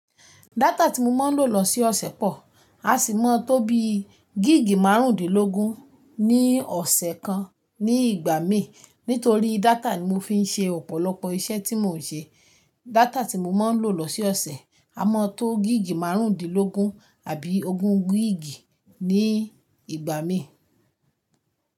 Data tí mo máa ń lò lọsoọ̀sẹ̀ pọ̀, a sì mọ́ tó bí gíìgì márùndínlógún ní ọ̀sẹ̀ kan ní ìgbà míì. Nítorí data ni mo fi ń ṣe ọ̀pọ̀lọpọ̀ iṣẹ́ tí mò ń ṣe. Data tí mo máa ń lò lọse ọ̀sẹ̀, a mọ̀ tó gíìgì márùndínlógún àbí ogún gíìgì ní ìgbà míì.